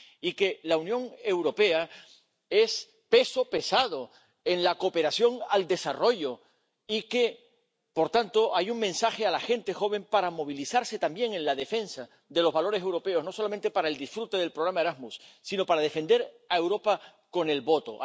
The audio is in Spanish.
y que la Unión Europea es peso pesado en la cooperación al desarrollo y que, por tanto, hay un mensaje a la gente joven para movilizarse también en la defensa de los valores europeos, no solamente para el disfrute del programa Erasmus, sino para defender a Europa con el voto.